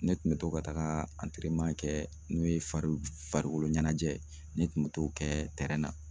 Ne kun bɛ to ka taga kɛ n'o ye farikolo ɲɛnajɛ ye ne kun bɛ to kɛ na.